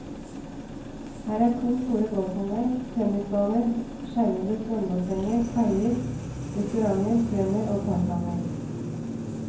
Her er to store golfanlegg, tennisbaner, skjermede svømmebassenger, kaier, restauranter, strender og parkanlegg.